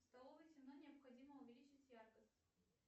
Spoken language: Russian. в столовой темно необходимо увеличить яркость